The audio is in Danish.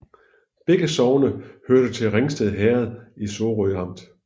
Begge sogne hørte til Ringsted Herred i Sorø Amt